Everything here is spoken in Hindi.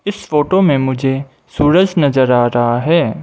इस फोटो मे मुझे सूरज नजर आ रहा है।